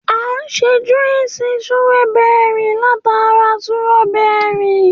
À sẹ júwúisì súròbẹri làtá rà súróbẹri.